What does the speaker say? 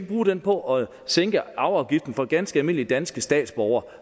bruge det på at sænke arveafgiften for ganske almindelige danske statsborgere